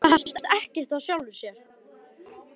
Það hefst ekkert af sjálfu sér.